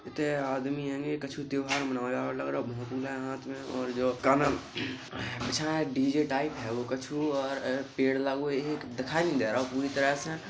इते आदमी हेंगे। कछु त्योहार मनाया लग रहो। भोंपू ले हाथ में और जो कानल अच्छा है। डी_जे टाइप हेगो कछु और अ पेड़ लागो एक दिखाई देरो पूरी तरह से।